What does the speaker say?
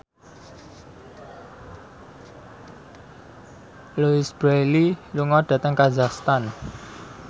Louise Brealey lunga dhateng kazakhstan